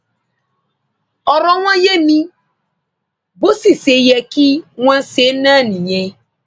ọrọ wọn yé mi bó sì ṣe yẹ kí wọn ṣe náà nìyẹn